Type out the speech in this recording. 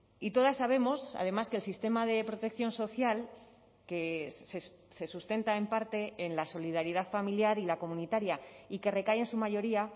y todas sabemos además que el sistema de protección social que se sustenta en parte en la solidaridad familiar y la comunitaria y que recae en su mayoría